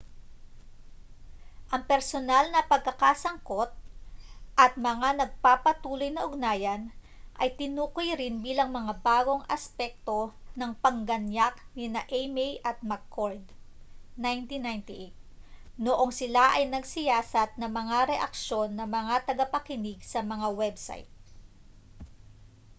"ang personal na pagkakasangkot at mga nagpapatuloy na ugnayan ay tinukoy rin bilang mga bagong aspekto ng pagganyak nina eighmey at mccord 1998 noong sila ay nagsiyasat ng mga reaksyon ng mga tagapagkinig sa mga website